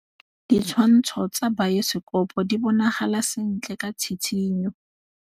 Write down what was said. Ditshwantshô tsa biosekopo di bonagala sentle ka tshitshinyô.